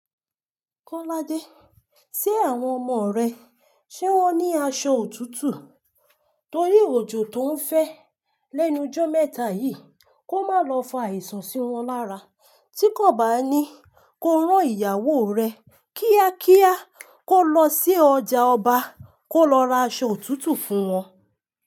Kọ́ládé, ṣé àwọn ọmọ rẹ ṣé wọ́n ní aṣọ òtútù? Torí òjò tó ń fẹ́ lẹ́nu ọjọ́ mẹ́ta yìí, kó má lọ fá àìsàn sí wọn lára. Tí kò bá ní, kó rán ìyàwó rẹ kíákíá kó lọ sí ọjà ọba kó lọ ra aṣọ òtútù fún wọn.